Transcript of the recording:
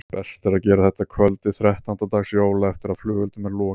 Best er að gera þetta að kvöldi þrettánda dags jóla eftir að flugeldum er lokið.